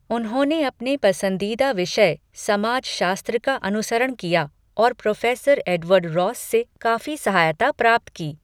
उन्होंने अपने पसंदीदा विषय, समाजशास्त्र का अनुसरण किया और प्रोफेसर एडवर्ड रॉस से काफी सहायता प्राप्त की।